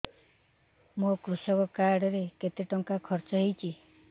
ମୋ କୃଷକ କାର୍ଡ ରେ କେତେ ଟଙ୍କା ଖର୍ଚ୍ଚ ହେଇଚି